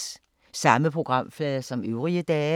Samme programflade som øvrige dage